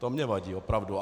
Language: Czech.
To mi vadí opravdu.